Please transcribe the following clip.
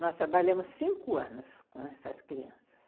Nós trabalhamos cinco anos com essas crianças.